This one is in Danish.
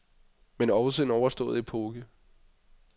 Men også en overstået epoke.